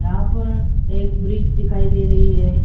यहां पर एक ब्रिज दिखाई दे रही है।